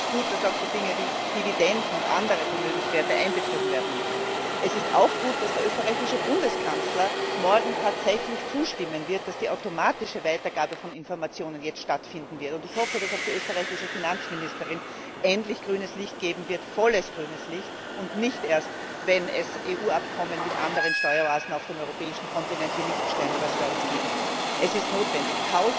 Es ist gut, dass auch solche Dinge wie Dividenden und andere Vermögenswerte einbezogen werden müssen. Es ist auch gut, dass der österreichische Bundeskanzler morgen tatsächlich zustimmen wird, dass die automatische Weitergabe von Informationen jetzt stattfinden wird. Ich hoffe, dass auch die österreichische Finanzministerin endlich volles grünes Licht geben wird und nicht erst, wenn es EU Abkommen mit anderen Steueroasen auf dem europäischen Kontinent wie Liechtenstein oder Schweiz geben muss. Es ist notwendig.